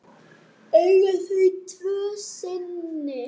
Eiga þau tvo syni.